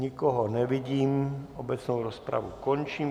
Nikoho nevidím, obecnou rozpravu končím.